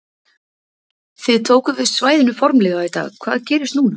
Þið tókuð við svæðinu formlega í dag, hvað gerist núna?